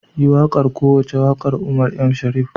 Yi wakar kowace wakar Umar M. shareef.